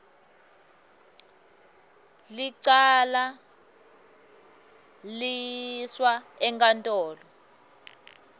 licala liyiswa enkantolo